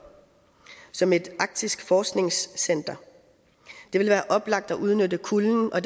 som et arktisk forskningscenter det vil være oplagt at udnytte kulden og